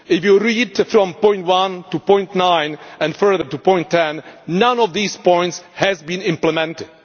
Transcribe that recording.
If you read from point 1 to point 9, and further to point 10, not one of these points has been implemented.